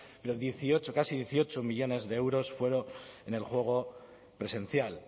pero el dieciocho casi dieciocho millónes de euros fueron en el juego presencial